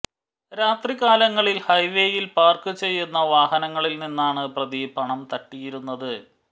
രാത്രി കാലങ്ങളിൽ ഹൈവേയിൽ പാർക്ക് ചെയ്യുന്ന വാഹനങ്ങളിൽ നിന്നാണ് പ്രതി പണം തട്ടിയിരുന്നത്